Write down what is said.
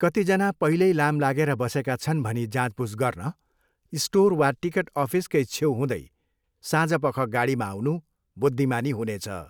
कतिजना पहिल्यै लाम लागेर बसेका छन् भनी जाँचबुझ गर्न स्टोर वा टिकट अफिसकै छेउ हुँदै साँझपख गाडीमा आउनु बुद्धिमानी हुनेछ।